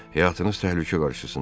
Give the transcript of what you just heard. Həyatınız təhlükə qarşısındadır.